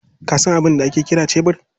Ka sa abin da ake kiri shebur?